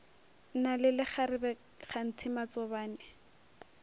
na le lekgarebe kganthe matsobane